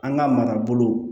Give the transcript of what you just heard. An ka marabolo